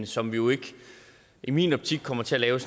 som vi jo ikke i min optik kommer til at lave